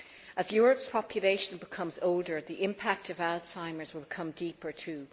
As Europe's population becomes older, the impact of Alzheimer's will become deeper too.